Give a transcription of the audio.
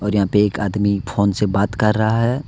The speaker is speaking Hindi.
और यहां पे एक आदमी फोन से बात कर रहा है।